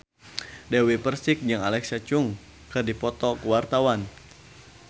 Dewi Persik jeung Alexa Chung keur dipoto ku wartawan